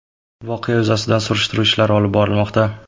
Voqea yuzasidan surishtiruv ishlari olib borilmoqda.